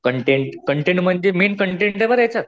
Content content म्हणजे main कंटेंटे बरं ह्याच्यात.